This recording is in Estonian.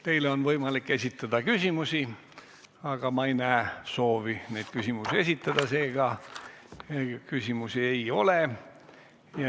Teile on võimalik esitada küsimusi, aga ma ei näe soovi neid küsimusi esitada, seega küsimusi ei ole.